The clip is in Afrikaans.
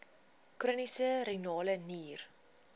chroniese renale nier